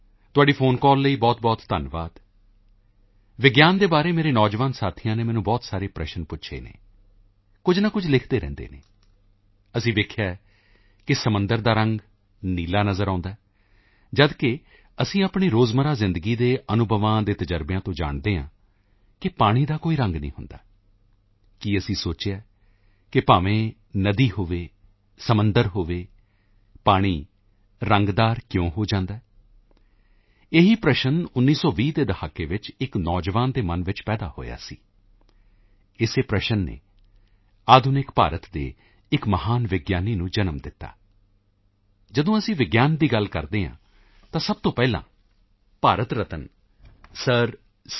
ਤੁਹਾਡੀ phone call ਲਈ ਬਹੁਤਬਹੁਤ ਧੰਨਵਾਦ ਵਿਗਿਆਨ ਦੇ ਬਾਰੇ ਮੇਰੇ ਨੌਜਵਾਨ ਸਾਥੀਆਂ ਨੇ ਮੈਨੂੰ ਬਹੁਤ ਸਾਰੇ ਪ੍ਰਸ਼ਨ ਪੁੱਛੇ ਹਨ ਕੁਝ ਨਾ ਕੁਝ ਲਿਖਦੇ ਰਹਿੰਦੇ ਹਨ ਅਸੀਂ ਵੇਖਿਆ ਹੈ ਕਿ ਸਮੁੰਦਰ ਦਾ ਰੰਗ ਨੀਲਾ ਨਜ਼ਰ ਆਉਦਾ ਹੈ ਜਦੋਂ ਕਿ ਅਸੀਂ ਆਪਣੇ ਰੋਜ਼ਮਰਾ ਜ਼ਿੰਦਗੀ ਦੇ ਅਨੁਭਵਾਂ ਦੇ ਤਜ਼ਰਬਿਆਂ ਤੋਂ ਜਾਣਦੇ ਹਾਂ ਕਿ ਪਾਣੀ ਦਾ ਕੋਈ ਰੰਗ ਨਹੀਂ ਹੁੰਦਾ ਕੀ ਅਸੀਂ ਸੋਚਿਆ ਹੈ ਕਿ ਭਾਵੇਂ ਨਦੀ ਹੋਵੇ ਸਮੁੰਦਰ ਹੋਵੇ ਪਾਣੀ ਰੰਗਦਾਰ ਕਿਉਂ ਹੋ ਜਾਂਦਾ ਹੈ ਇਹੀ ਪ੍ਰਸ਼ਨ 1920 ਦੇ ਦਹਾਕੇ ਵਿੱਚ ਇੱਕ ਨੌਜਵਾਨ ਦੇ ਮਨ ਵਿੱਚ ਪੈਦਾ ਹੋਇਆ ਸੀ ਇਸੇ ਪ੍ਰਸ਼ਨ ਨੇ ਆਧੁਨਿਕ ਭਾਰਤ ਦੇ ਇੱਕ ਮਹਾਨ ਵਿਗਿਆਨੀ ਨੂੰ ਜਨਮ ਦਿੱਤਾ ਜਦੋਂ ਅਸੀਂ ਵਿਗਿਆਨ ਦੀ ਗੱਲ ਕਰਦੇ ਹਾਂ ਤਾਂ ਸਭ ਤੋਂ ਪਹਿਲਾਂ ਭਾਰਤ ਰਤਨ ਸਰ ਸੀ